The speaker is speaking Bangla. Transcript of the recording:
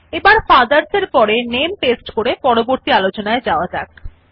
এবার ফাদারস এর পরে নামে পেস্ট করে পরবর্তী আলোচনায় যাওয়া যাক